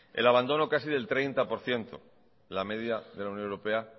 el abandono casi del treinta por ciento la media de la unión europea